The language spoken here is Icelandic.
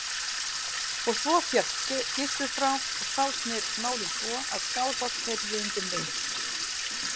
Og svo féll Gizur frá og þá snerust málin svo að Skálholt heyrði undir mig.